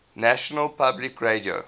national public radio